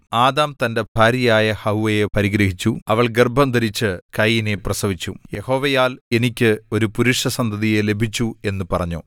Adam തന്റെ ഭാര്യയായ ഹവ്വായെ പരിഗ്രഹിച്ചു അവൾ ഗർഭംധരിച്ചു കയീനെ പ്രസവിച്ചു യഹോവയാൽ എനിക്ക് ഒരു പുരുഷസന്തതിയെ ലഭിച്ചു എന്നു പറഞ്ഞു